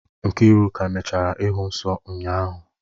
Nkiruka emechaala ịhụ nsọ ụnyahụ.